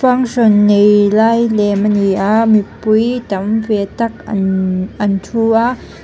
function nei lai lem a ni a mipui tam ve tak an an thu a.